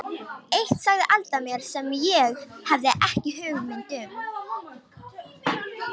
Eitt sagði Alda mér sem ég hafði ekki hugmynd um.